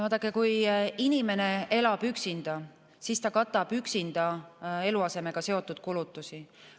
Vaadake, kui inimene elab üksinda, siis ta katab üksinda eluasemega seotud kulutusi.